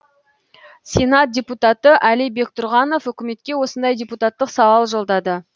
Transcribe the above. сенат депутаты али бектұрғанов үкіметке осындай депутаттық сауал жолдады